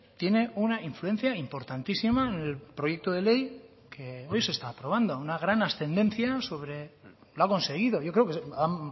tiene una influencia importantísima en el proyecto de ley que hoy se está aprobando una gran ascendencia sobre lo ha conseguido yo creo que ha